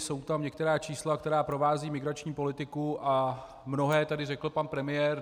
Jsou tam některá čísla, která provázejí migrační politiku, a mnohé tady řekl pan premiér.